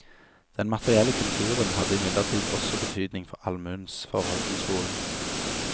Den materielle kulturen hadde imidlertid også betydning for allmuens forhold til skolen.